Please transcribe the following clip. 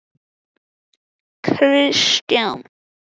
Dalí, kanntu að spila lagið „Alltaf einn“?